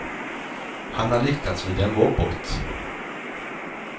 Han har liknats vid en robot.